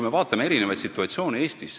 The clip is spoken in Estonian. Vaatame erinevaid situatsioone Eestis.